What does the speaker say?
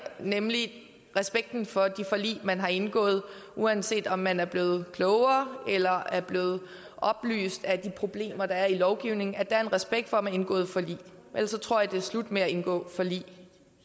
nemlig respekten for de forlig man har indgået uanset om man er blevet klogere eller er blevet oplyst af de problemer der er i lovgivningen er der respekt for at man har indgået forlig ellers tror jeg det er slut med at indgå forlig